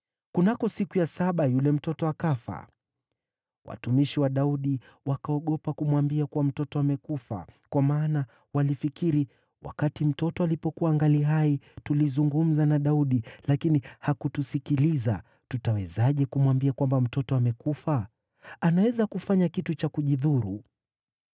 Kunako siku ya saba yule mtoto akafa. Watumishi wa Daudi wakaogopa kumwambia kuwa mtoto amekufa, kwa maana walifikiri, “Wakati mtoto alipokuwa angali hai, tulizungumza na Daudi lakini hakutusikiliza. Tutawezaje kumwambia kwamba mtoto amekufa? Anaweza kufanya kitu cha kujidhuru.”